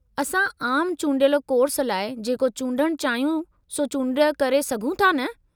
असां आमु चूंडियल कोर्स लाइ जेको चूंडणु चाहियूं, सो चूंड करे सघूं था न?